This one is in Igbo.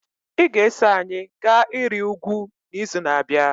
Ị ga-eso anyị gaa ịrị ugwu n'izu na-abịa.